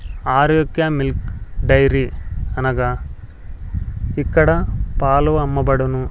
Arokya milk dairy అనగా ఇక్కడ పాలు అమ్మబడును.